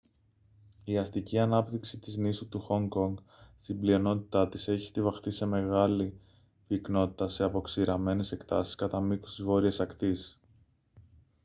η αστική ανάπτυξη της νήσου του χονγκ κονγκ στην πλειονότητά της έχει στοιβαχτεί σε μεγάλη πυκνότητα σε αποξηραμένες εκτάσεις κατά μήκους της βόρειας ακτής